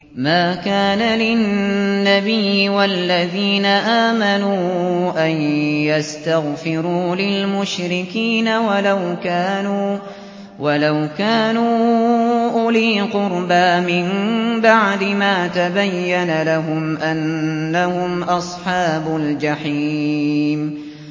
مَا كَانَ لِلنَّبِيِّ وَالَّذِينَ آمَنُوا أَن يَسْتَغْفِرُوا لِلْمُشْرِكِينَ وَلَوْ كَانُوا أُولِي قُرْبَىٰ مِن بَعْدِ مَا تَبَيَّنَ لَهُمْ أَنَّهُمْ أَصْحَابُ الْجَحِيمِ